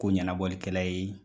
Ko ɲɛnabɔkɛla ye